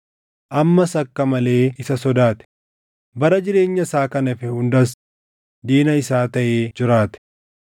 ammas akka malee isa sodaate; bara jireenya isaa kan hafe hundas diina isaa taʼee jiraate.